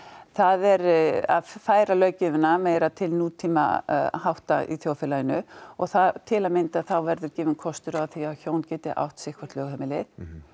það er að færa löggjöfina meira til nútíma hátta í þjóðkerfinu og til að mynda verður gefinn kostur á því að hjón geti átt sitthvort lögheimilið